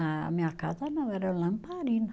A minha casa não, era lamparina.